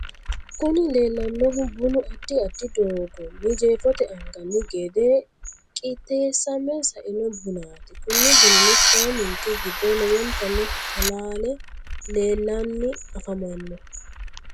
Kuni leleanohu bunu adid adid dogoni jefote aniganni gede qitesame saino bunat kuni bunino sidaminike gido lowontani halalle lelanni afamano.